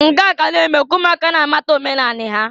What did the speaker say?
Nke a na-eme ka ụmụaka na-amata omenanị ha.